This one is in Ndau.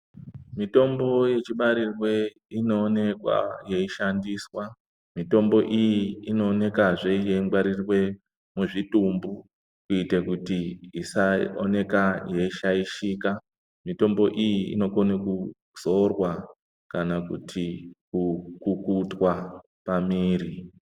Mitombo yechibarirwe inoonekwa yeishandiswa ,mitombo iyi ino oneka zve yeingwarirwe muzvitumbu ,kuite kuti isaoneke yeishaishika, mitombo iyi inokona kuzorwa kana kupukutwa pamiri.